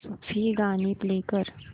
सूफी गाणी प्ले कर